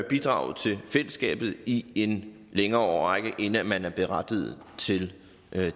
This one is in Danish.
bidraget til fællesskabet i en længere årrække inden man er berettiget til